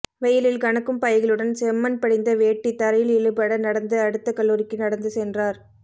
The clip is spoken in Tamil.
வெயிலில் கனக்கும் பைகளுடன் செம்மண் படிந்த வேட்டி தரையில் இழுபட நடந்து அடுத்தக் கல்லூரிக்கு நடந்து சென்றார்